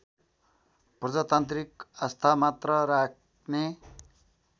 प्रजातान्त्रिक आस्थामात्र राख्ने